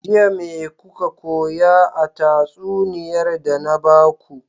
Jiya me kuka koya a tatsuniyar da na baku?